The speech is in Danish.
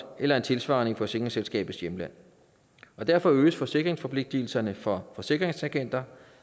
eller en tilsvarende i forsikringsselskabets hjemland derfor øges forsikringsforpligtigelserne for forsikringsagenter